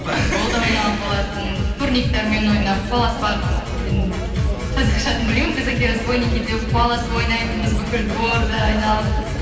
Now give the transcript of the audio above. футбол да ойнаған болатынмын турниктармен ойнап қуаласпақ енді қазақша атын білмеймін казахи разбойники деп қуаласып ойнайтынбыз бүкіл дворды айналып